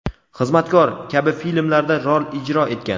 "Xizmatkor" kabi filmlarda rol ijro etgan.